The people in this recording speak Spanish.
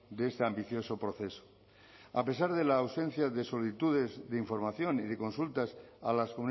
de este ambicioso proceso a pesar de la ausencia de solicitudes de información y de consultas a las